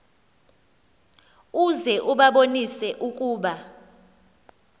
uze ubabonise ukuba